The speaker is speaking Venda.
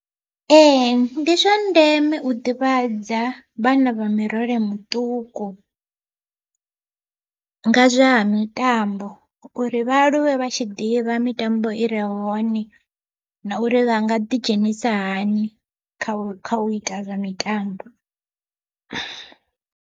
Ee ndi zwa ndeme u ḓivhadza vhana vha murole muṱuku, nga zwa ha mitambo uri vha aluwe vha tshi ḓivha mitambo i re hone na uri vha nga ḓi dzhenisa hani kha u kha u ita zwa mitambo.